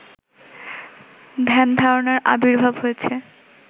ধ্যানধারণার আবির্ভাব হয়েছে